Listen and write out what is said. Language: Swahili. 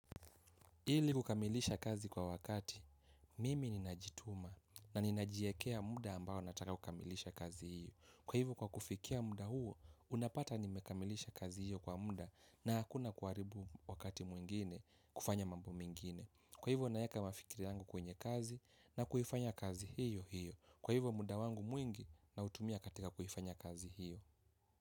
Ili kukamilisha kazi kwa wakati, mimi ninajituma na ninajiekea muda ambao nataka kukamilisha kazi hiyo. Kwa hivyo kwa kufikia muda huo, unapata nimekamilisha kazi hiyo kwa muda na hakuna kuharibu wakati mwingine kufanya mambo mengine. Kwa hivyo nayaweka mafikiri yangu kwenye kazi na kuifanya kazi hiyo hiyo. Kwa hivyo muda wangu mwingi nina utumia katika kuifanya kazi hiyo.